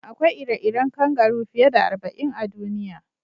Akwai ire-iren kangaru fiye da arba'in a duniya.